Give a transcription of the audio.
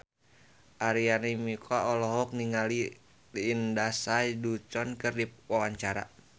Arina Mocca olohok ningali Lindsay Ducan keur diwawancara